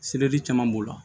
caman b'o la